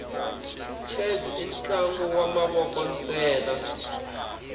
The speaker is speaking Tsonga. chess intlangu wamavoko nsena